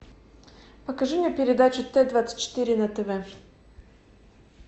покажи мне передачу т двадцать четыре на тв